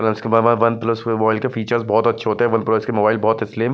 one plus plus के mobile के features बहुत अच्छे होते हैं वन प्लस के मोबाईल बहुत है स्लिम ---